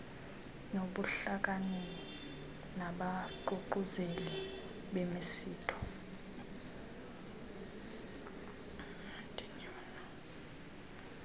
nobuhlakani nabaququzeleli bemisitho